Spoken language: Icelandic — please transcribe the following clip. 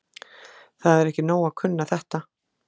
Það er ekki nóg að kunna þetta.